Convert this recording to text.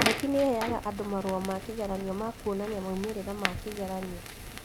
KNEC nĩheaga andũ marũa ma kĩgeranio ma kuonania maumĩrĩra ma kĩgeranio